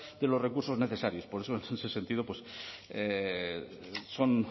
de los recursos necesarios por eso en ese sentido pues son